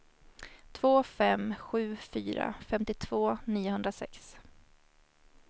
två fem sju fyra femtiotvå niohundrasex